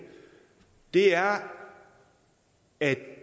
er at